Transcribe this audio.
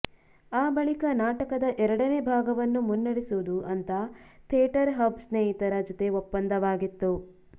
ಆ ಬಳಿಕ ನಾಟಕದ ಎರಡನೇ ಭಾಗವನ್ನು ಮುನ್ನಡೆಸುವುದು ಅಂತ ಥೇಟರ್ ಹಬ್ ಸ್ನೇಹಿತರ ಜೊತೆ ಒಪ್ಪಂದವಾಗಿತ್ತು